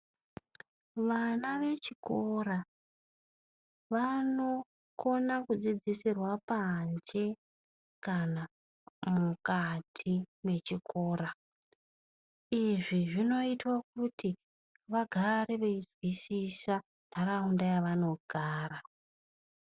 Vana vechikora vanokona kudzidzisirwa panze kana mukati mwechikora izvi zvinoita kuti vagare veinzwisisa ndaraunda yavanogara .